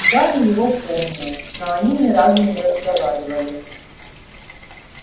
гарри его помнил но они ни разу не разговаривали